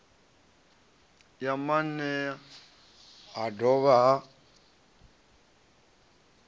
ya maanea ha dovha ha